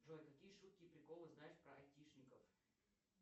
джой какие шутки и приколы знаешь про айтишников